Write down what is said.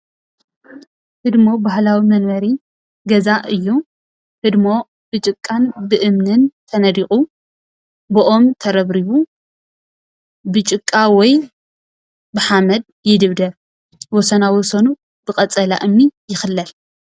ህድሞ ባህላዊ መንበሪ ገዛ እዪ። ህድሞ ብጭቃን ብእምንን ተነዲቁ ብኦም ተረብሪቡ ብጭቃ ወይ ብሓመድ ይድብደብ። ወሰና ወሰኑ ብቀፀላ እምኒ ይክለል ።